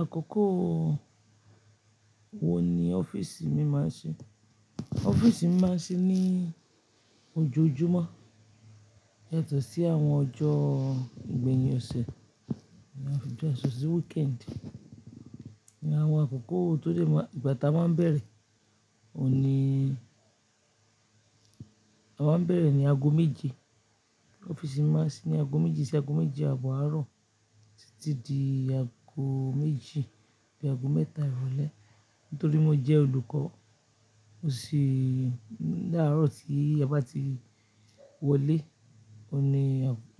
Àkókò wo ni ọ́fíìsì mi máa ń ṣí? Ọ́fíìsì mi máa ń ṣí ní ojoojúmọ́, yàtọ̀ sí àwọn ọjọ́ ìgbẹ̀yìn ọ̀sẹ̀, àwọn ọjọ́ ìṣọ̀ṣọ̀ sí weekend. Ni àwọn àkókò tó lè máa, ìgbà táa máa ń bẹ̀rẹ̀, òní, a máa ń bẹ̀rẹ̀ ní ago méje. Ọ́fíìsì mi máa ń sí ní ago méje sí ago méje abọ àárọ̀ títí di ago méjì àti ago mẹ́ta ìrọ̀lẹ́. Nítorí mo jẹ́ olùkọ́, mo sì ní àárọ̀ tí aba ti wọlé, òní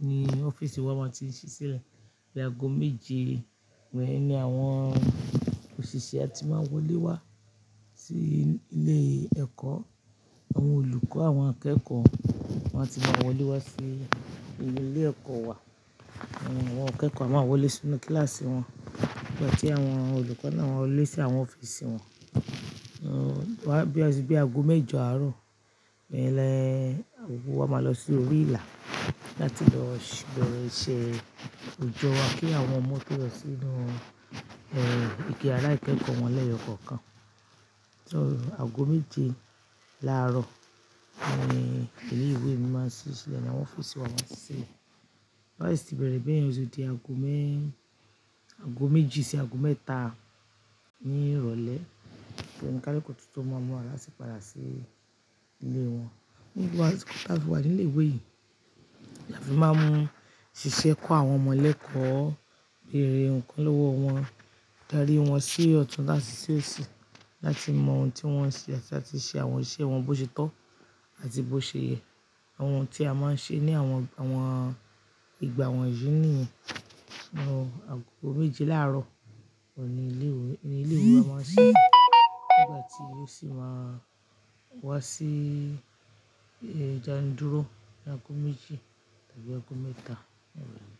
ní ọ́fíìsì wa máa ti sí sílẹ̀. Bi ago méje wẹ́ẹ́ ni àwọn òṣìṣẹ́ a ti máa n wọlé wá sí ilé ẹ̀kọ́. Àwọn olùkọ́, àwọn akẹ́kọ̀ọ́ máa ti máa wọlé wá sí ilé ẹ̀kọ́ wa. Àwọn akẹ́kọ̀ọ́ a máa wọlé sínú kíláàsì wọn. Nigbati àwọn olùkọ́ náà wọlé sí àwọn ọ́fíìsì wọn. Bí, bí, bí ago méje àárọ̀, lẹ́ẹ̀lẹ́ ago wa máa lọ sí orí ìlà láti lọ ṣ'ì bẹ̀rẹ̀ iṣẹ́ òjò wá kí àwọn ọmọ tó lọ sínú, ẹ́, ike yàrá ìkẹ́kọ̀ọ́ wọn lẹ́yọ kánkán. So ago méje láàárọ̀ ni ilé ìwé mi máa ń ṣí sílẹ̀ ní àwọn ọ́fíìsì wa máa ń ṣí. Láìsí bẹ̀rẹ̀ bẹyẹn oti di ago mẹ́, ago méji sí ago mẹ́ta ní ìrọ̀lẹ́, ti oun kaluku tun tó máa múra láti padà sí ilé wọn. Nígbà tí a fi wà ní ilé ìwé yìí, là fí máa ń ṣiṣẹ́ kọ́ àwọn ọmọ lẹ́kọ̀ọ́, béèrè nǹkan lọwọ wọn, darí wọn sí ọ̀tún láti sì òsì láti mọ ohun tí wọ́n ń ṣe àti ṣe àwọn iṣẹ́ wọn bó ṣe tọ́ àti bó ṣe yẹ. Àwọn ohun tí a máa ń ṣe ní àwọn, àwọn ìgbà wọ̀nyí ni àwọn ago méje láàárọ̀, òní ilé ìwé, ní ilé ìwé wa máa ń ṣí nígbà tí ó sì máa wá sí ìdàndúró ní ago méjì tàbí ago mẹ́ta ìrọ̀lẹ́